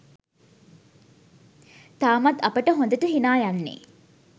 තාමත් අපට හොඳට හිනා යන්නේ.